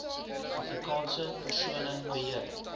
afrikaanse persone beheer